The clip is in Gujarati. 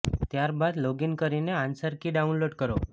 ત્યારબાદ લોગ ઈન કરીને આન્સર કી ડાઉનલોડ કરો